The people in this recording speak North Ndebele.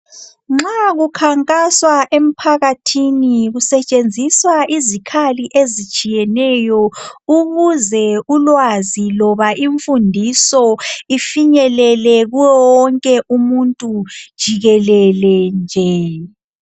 nxa kukhankaswa emphakathini kusetshenziswa izikhali ezitshiyeneyo ukuze ulwazi loba imfundiso ifinyelele kuye wonke umuntu jikelele nje